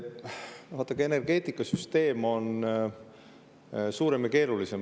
Vaadake, energeetikasüsteem on suurem ja keerulisem.